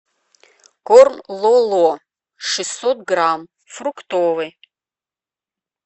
корм лоло шестьсот грамм фруктовый